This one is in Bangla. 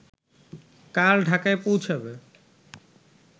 কাল ঢাকায় পৌঁছাবে